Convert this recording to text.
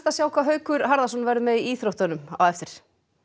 sjá hvað Haukur Harðarson verður með í íþróttum hér á eftir